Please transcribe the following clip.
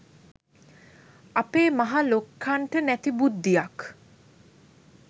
අපේ මහ ලොක්කන්ට නැති බුද්ධියක්